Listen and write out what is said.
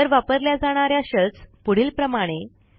इतर वापरल्या जाणा या शेल्स पुढीलप्रमाणे